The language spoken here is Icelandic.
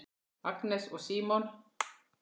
Agnes og Símon.